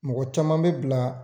Mɔgɔ caman bɛ bila